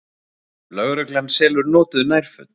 Lögreglan selur notuð nærföt